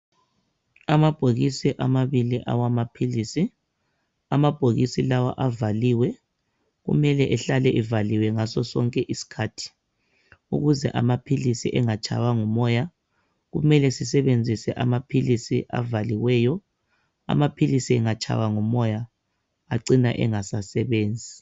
Amabhokisi awamabili amaphilisi. Amabhokisi lawa avaliwe. Kumele ehlale evaliwe ngaso sonke iskhathi ukuze amaphilisi engatshaywa ngumoya. Kumele sisebenzise amaphilisi avaliweyo. Amaphilisi engatshaywa ngumoya acina engasasebenzi.